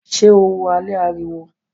Ṣé o wo alẹ́ ariwo?